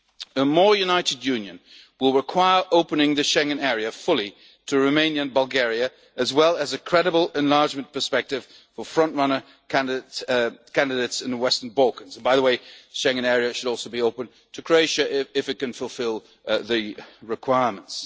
rule of law. A more united Union will require opening the Schengen Area fully to Romania and Bulgaria, as well as a credible enlargement perspective for front runner candidates in the Western Balkans. By the way, the Schengen area should also be opened to Croatia if it can fulfil the